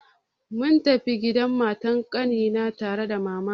Mun tafi gidan matar ƙanina tare da mamana.